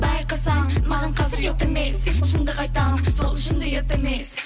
байқасаң маған қазір ұят емес шындық айтам сол үшін де ұят емес